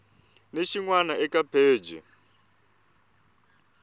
ni xin wana eka pheji